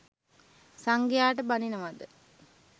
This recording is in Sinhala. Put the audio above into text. සංඝයාට බනිනවද?